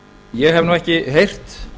ég ekki heyrt